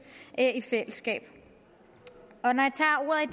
i fællesskab når